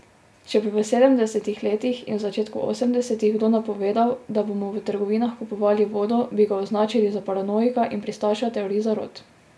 Če bi v sedemdesetih letih in začetku osemdesetih kdo napovedal, da bomo v trgovinah kupovali vodo, bi ga označili za paranoika in pristaša teorij zarot.